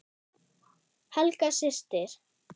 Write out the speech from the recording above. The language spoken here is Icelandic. Helga systir.